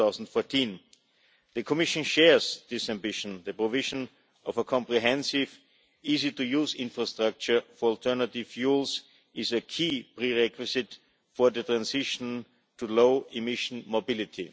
2014. The Commission shares this ambition. The provision of a comprehensive, easy to use infrastructure for alternative fuels is a key prerequisite for the transition to low emission mobility.